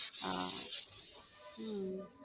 அஹ் உம்